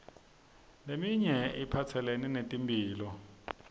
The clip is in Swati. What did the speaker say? leminye iphatselene netemphilo